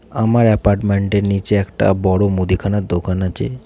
আমার এপার্টমেন্ট -এর নীচে একটা বড়ো মুদিখানার দোকান আছে।